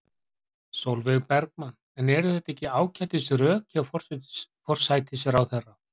Sólveig Bergmann: En eru þetta ekki ágætis rök hjá forsætisráðherra?